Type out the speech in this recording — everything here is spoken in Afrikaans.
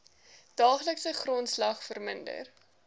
daaglikse grondslag verminder